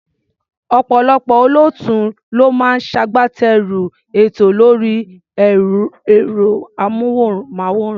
Ọ̀pọ̀lọpọ̀ olóòtú ló máa ń ṣagbátẹrù ètò lórí ẹ̀rọ-amóhùnmáwòrán.